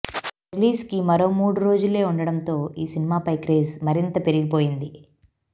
release కి మరో మూడు రోజులే ఉండడంతో ఈ సినిమాపై క్రేజ్ మరింత పెరిగిపోయింది